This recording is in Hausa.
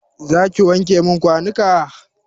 Zaki wanke min kwanuka?